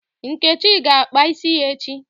Nkechi ga-akpa isi ya echi